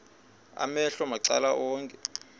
amehlo macala onke